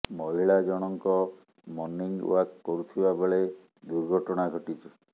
ମହିଳା ଜଣଙ୍କ morning walk କରୁଥିବା ବେଳେ ଦୁର୍ଘଟଣା ଘଟିଛି